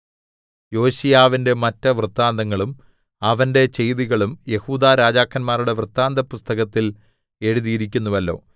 യോശീയാവിന്റെ മറ്റ് വൃത്താന്തങ്ങളും അവന്റെ ചെയ്തികളും യെഹൂദാ രാജാക്കന്മാരുടെ വൃത്താന്തപുസ്തകത്തിൽ എഴുതിയിരിക്കുന്നുവല്ലോ